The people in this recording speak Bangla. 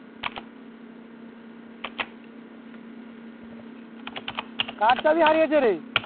কার চাবি হারিয়েছে রে